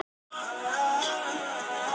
Ísold, hvaða leikir eru í kvöld?